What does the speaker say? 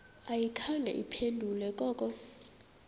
ayikhange iphendule koko